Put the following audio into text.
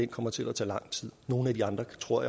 kommer til at tage lang tid nogle af de andre tror